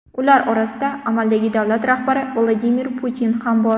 Ular orasida amaldagi davlat rahbari Vladimir Putin ham bor.